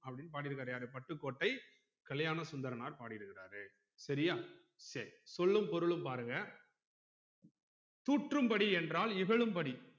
அப்புடின்னு பாடிருக்குராறு யாரு பட்டுக்கோட்டை கல்யாணசுந்தரனார் பாடிருக்குராறு சரியா சரி சொல்லும் பொருளும் பாருங்க தூற்றும் படி என்றல் இகழும் படி